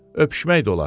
Öpüşmək də olar.